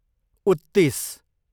उत्तिस